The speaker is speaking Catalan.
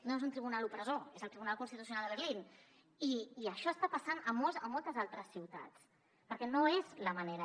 no és un tribunal opressor és el tribunal constitucional de berlín i això està passant a moltes altres ciutats perquè no és la manera